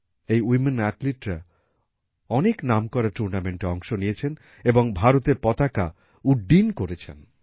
এই ওয়ামেন অ্যাথলিটরা অনেক নামকরা টুর্নামেন্টে অংশ নিয়েছেন এবং ভারতের পতাকা উড্ডীন করেছেন